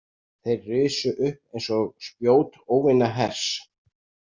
Þeir risu upp eins og spjót óvinahers.